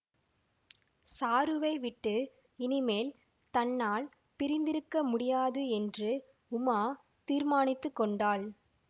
சாருவை விட்டு இனி மேல் தன்னால் பிரிந்திருக்க முடியாது என்று உமா தீர்மானித்து கொண்டாள்